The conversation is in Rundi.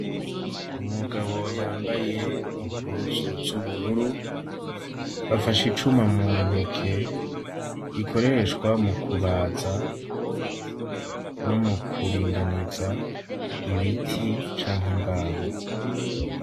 Umugabo yambaye impuzu z'ubururu, afashe icuma mu ntoke, gikoreshwa mu kubaza no mu kuringaniza ibiti canke imbaho.